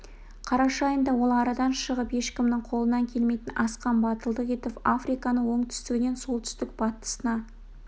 қараша айында ол арадан шығып ешкімнің қолынан келмейтін асқан батылдық етіп африканы оңтүстігінен солтүстік батысына